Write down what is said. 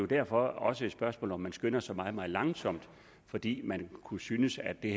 derfor også et spørgsmål om om man skynder sig meget meget langsomt fordi man kunne synes at det